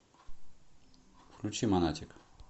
включи монатик